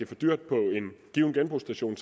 for dyrt på en given genbrugsstation